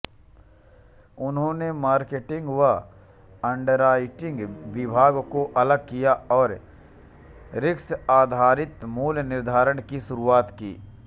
उन्होंने मार्केटिंग व अंडरराईटिंग विभागों को अलग किया और रिस्कआधारित मूल्य निर्धारण की शुरुआत की